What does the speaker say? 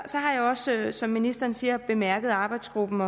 så har jeg også som ministeren siger bemærket arbejdsgruppen